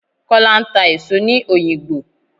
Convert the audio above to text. Kọ́lá ń ta èso ní òyìngbò.